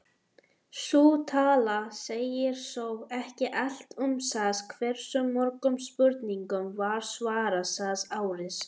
Sú tala segir þó ekki allt um það hversu mörgum spurningum var svarað það árið.